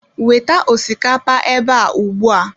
Weta osikapa ebe a ugbu a